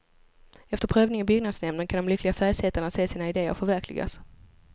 Efter prövning i byggnadsnämnden kan de lyckliga färgsättarna se sina idéer förverkligas.